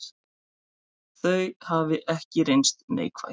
Þau hafi ekki reynst neikvæð.